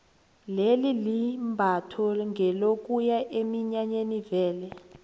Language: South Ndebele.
leli imbatho ngelokuya eminyanyeni vele